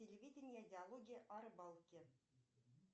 телевидение диалоги о рыбалке